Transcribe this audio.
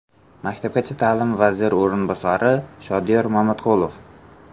Maktabgacha ta’lim vaziri o‘rinbosari Shodiyor Mamatqulov.